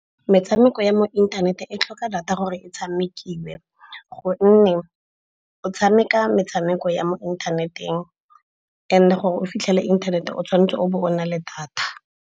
Metshameko ya mo inthaneteng e tlhoka data gore e tshamekiwe gonne o tshameka metshameko ya mo inthaneteng, and gore o fitlhele inthanete o tshwanetse o bo o na le data.